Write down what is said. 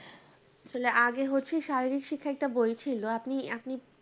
আসলে আগে হচ্ছে শারীরিক শিক্ষার একটা বই ছিল আপনি এখন